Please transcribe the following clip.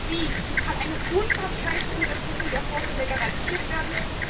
Wie kann eine unparteiische Untersuchung der Vorfälle garantiert werden?